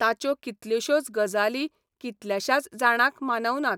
ताच्यो कितल्योश्योच गजाली कितल्याशाच जाणांक मानवनात.